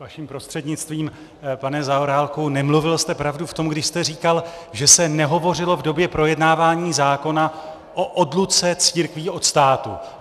Vaším prostřednictvím, pane Zaorálku, nemluvil jste pravdu v tom, když jste říkal, že se nehovořilo v době projednávání zákona o odluce církví od státu.